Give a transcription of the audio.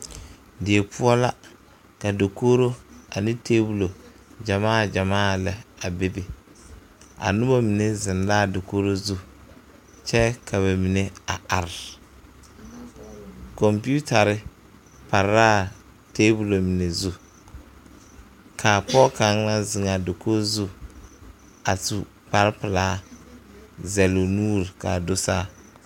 Die poɔ la ka dakogro ane tebolo gyamaa gyamaa lɛ a bebe a noba mine zeŋ la a dakogri zu kyɛ ka ba mine are are a kompeetare pare la a tebol mine zu ka pɔge kaŋa wa zeŋ a dakogi zu a su kpare pelaa zɛle o nuuri ka a do saa.